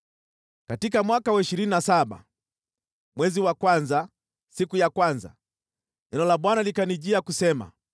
Katika mwaka wa ishirini na saba, mwezi wa kwanza, siku ya kwanza, neno la Bwana likanijia, kusema: